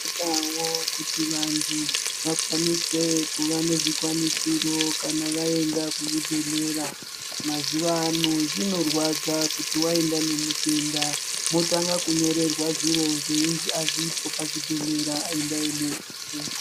Tinoonawo kuti vantu vakwanise kuva nezvikwanisiro kana vaenda kuzvibhedhlera mazuva ano zvinorwadza kuti wanga waenda nemutenda wotanga kunyorerwa zviro zveinzi azvipo pazvibhedhlera endai notenga.